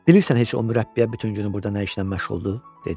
Bilirsən heç o mürəbbiyə bütün günü burda nə işlə məşğuldur?